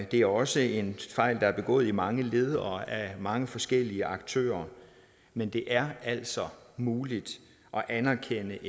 det er også en fejl der er begået i mange led og af mange forskellige aktører men det er altså muligt at anerkende